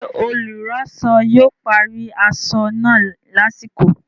Ṣé olùránsọ yóò parí aṣọ náà lásìkò?